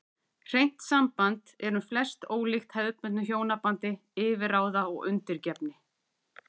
Hreint samband er um flest ólíkt hefðbundnu hjónabandi yfirráða og undirgefni.